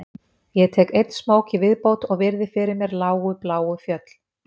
Ég tek einn smók í viðbót og virði fyrir mér lágu bláu fjöll